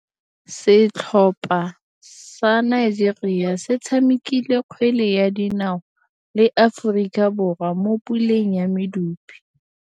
Setlhopha sa Nigeria se tshamekile kgwele ya dinaô le Aforika Borwa mo puleng ya medupe.